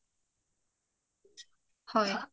হয়